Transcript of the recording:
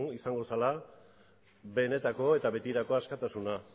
izango zela benetako eta betirako askatasuna